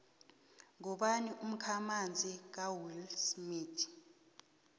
ngubani umkhamanzi kawillsmith